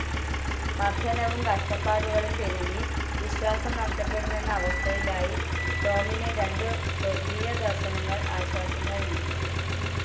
മർദ്ദനവും കഷ്ടപ്പാടുകളും പെരുകി വിശ്വാസം നഷ്ടപ്പെടുമെന്ന അവസ്ഥയിലായി ടോമിന് രണ്ടു സ്വർഗീയദര്ശനങ്ങൾ ആശ്വാസം നൽകി